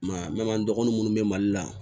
Ma dɔgɔnin minnu bɛ mali la